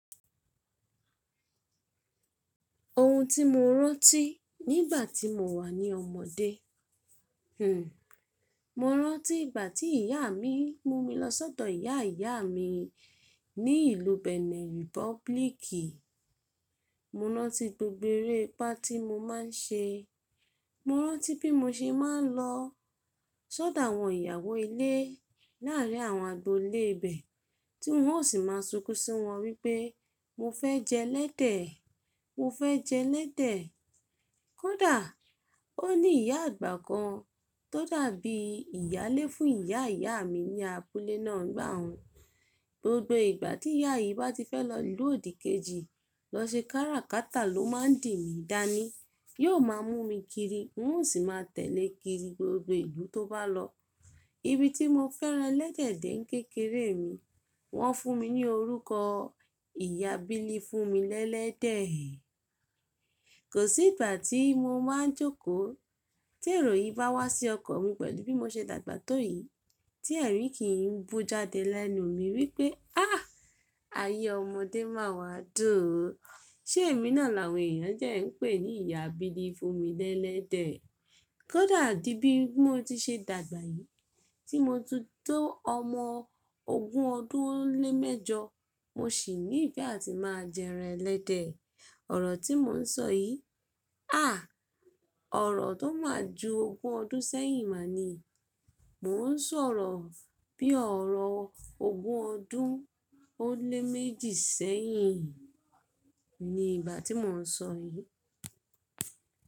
Ohun tí mo rántí nígbà tí mo wà ní ọmọdé, hmm, mo rántí ìgbà tí ìyá mi mú mi lọ sọ́dọ̀ ìyá ìyá mi ní ìlú Benin Republic. Mo rántí gbogbo eré pá tí mo máa ń ṣe. Mo rántí bí mo ṣe máa ń lọ tọ́ da àwọn ìyàwó ilé láàárín àwọn agbolé ibẹ̀, tí wọ́n ó sì máa ń sunkún sí wọn wípé mo fẹ́ jẹ lẹ́dẹ̀, mo fẹ́ jẹ lẹ́dẹ̀. Kódà ó ní ìyá àgbà kan tó dàbí ìyálé fún ìyá ìyá mi ní abúlé náà nígbà un. Gbogbo ìgbà tí ìyá yìí bá ti fẹ́ lọ ìlú òdìkejì lọ ṣe káràkátà ló máa ń dì mí dání. Yóò máa mú mi kiri, wọ́n ó sì máa tẹ̀lẹ́ kiri gbogbo ìlú tó bá lọ. Ibi tí mo fẹ́ran ẹlẹ́dẹ̀ dẹ̀ kékeré mi, wọ́n fún mi ní orúkọ "Ìyá bílí fún mi lẹ́lẹ́dẹ̀ ẹ́". Kò sí ìgbà tí mo máa ń jókòó tí èrò yì bá wá sí ọkan mi pẹ̀lú bí mo ṣe dàgbà tó yìí tí ẹ̀rí kìí bù jáde lẹ́nu mi wípé áà, ayé ọmọdé máa wá dùn o. Ṣé èmi náà làwọn èèyàn dẹ́ ń pè ní ìyá bílí fún mi lẹ́lẹ́dẹ̀ ẹ́? Kódà di bí mo ti ṣe dàgbà yìí, tí mo ti tó ọmọ ogún ọdún ó lé mẹ́jọ, mo ṣì ní ìfẹ́ àti máa jẹ ẹran ẹlẹ́dẹ̀. Ọ̀rọ̀ tí mo ń sọ yìí, àá! Ọ̀rọ̀ tó máa ju ogún ọdún sẹ́yìn máa ni. Mo ń sọ̀rọ̀ bí ọ̀rọ̀ ogún ọdún ó lé méjì sẹ́yìn ni ìgbà tí mo ń sọ yìí.